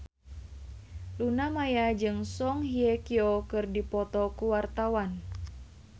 Luna Maya jeung Song Hye Kyo keur dipoto ku wartawan